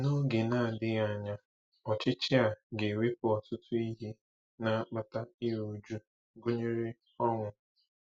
N’oge na-adịghị anya, ọchịchị a ga-ewepụ ọtụtụ ihe na-akpata iru újú, gụnyere ọnwụ.